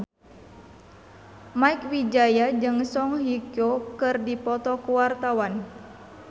Mieke Wijaya jeung Song Hye Kyo keur dipoto ku wartawan